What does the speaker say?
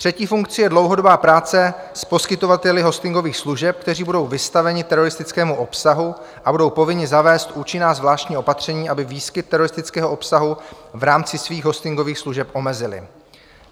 Třetí funkci je dlouhodobá práce s poskytovateli hostingových služeb, kteří budou vystaveni teroristickému obsahu, a budou povinni zavést účinná zvláštní opatření, aby výskyt teroristického obsahu v rámci svých hostingových služeb omezili.